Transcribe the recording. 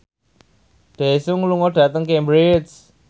Daesung lunga dhateng Cambridge